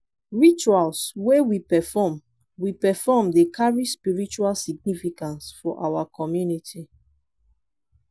rituals wey we perform we perform dey carry spiritual significance for our community.